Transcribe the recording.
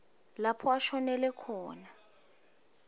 lapho ashonele khona